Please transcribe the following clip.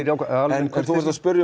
en þú ert að spyrja